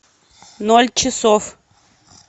ноль часов